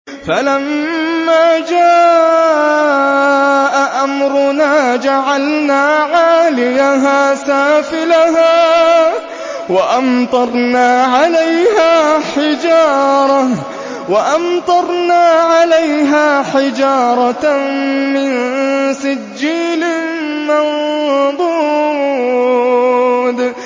فَلَمَّا جَاءَ أَمْرُنَا جَعَلْنَا عَالِيَهَا سَافِلَهَا وَأَمْطَرْنَا عَلَيْهَا حِجَارَةً مِّن سِجِّيلٍ مَّنضُودٍ